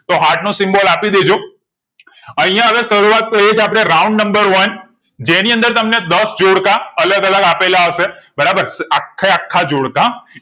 તો heart નો symbol આપી દેજો અહીંયા હવે શરૂઆત તો એછે round number એક જેની અંદર તમને દસ જોડકા અલગ અલગ આપેલા હશે બરાબર આખે આખા જોડકા